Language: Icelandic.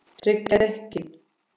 Tryggja dekkin?